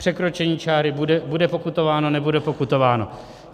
Překročení čáry bude pokutováno, nebude pokutováno?